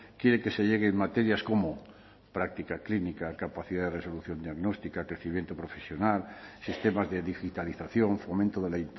quiere que se llegue en materias como práctica clínica capacidad de resolución diagnóstica crecimiento profesional sistemas de digitalización fomento de la